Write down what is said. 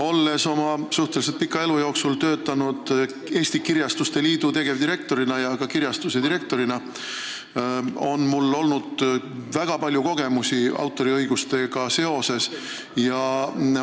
Olles oma suhteliselt pika elu jooksul töötanud Eesti Kirjastuste Liidu tegevdirektorina ja ka kirjastuse direktorina, on mul väga palju kogemusi, mis puudutavad autoriõigusi.